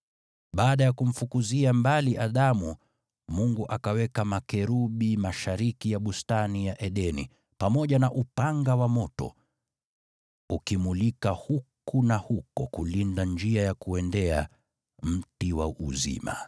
Baada ya kumfukuzia mbali Adamu, Mungu akaweka makerubi mashariki ya Bustani ya Edeni, pamoja na upanga wa moto ukimulika huku na huko kulinda njia ya kuuendea mti wa uzima.